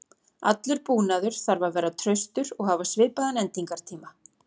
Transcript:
Allur búnaður þarf að vera traustur og hafa svipaðan endingartíma.